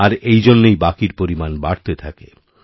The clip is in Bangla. আর এই জন্যই বাকিরপরিমাণ বাড়তে থাকে